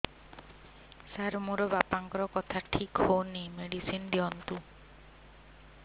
ସାର ମୋର ବାପାଙ୍କର କଥା ଠିକ ହଉନି ମେଡିସିନ ଦିଅନ୍ତୁ